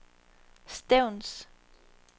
Stevns